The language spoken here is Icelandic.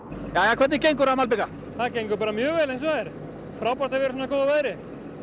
jæja hvernig gengur að malbika það gengur bara mjög vel eins og er frábært að vera í svona góðu veðri